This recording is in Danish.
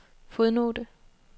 fodnote